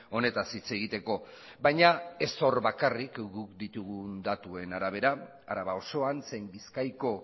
honetaz hitz egiteko baina ez hor bakarrik guk ditugun datuen arabera araba osoan zein bizkaiko